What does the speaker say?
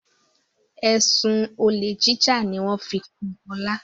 Ẹsùn Olè jíjà ní wón fí kán Ola